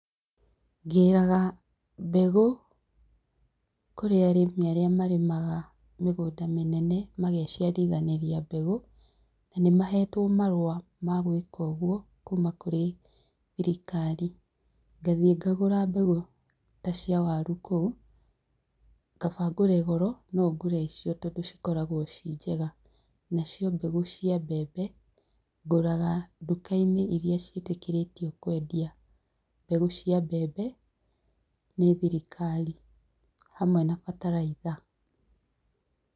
Ngĩraga mbegũ kũrĩ arĩmi arĩa marĩmaga mĩgunda mĩnene mageciarithanĩria mbegũ, nĩ mahetwo marũa ma gwĩka ũguo kuuma kũrĩ thirikari, ngathiĩ ngagũra mbegũ ta cia waru kũu, kaba ngũre goro, no ngũre icio tondũ cikoragwo ciĩ njega, na cio mbegũ cia mbembe, ngũraga duka-inĩ iria ciĩtĩkĩrĩtio kwendia mbegũ cia mbembe nĩ thirikari hamwe na bataraitha.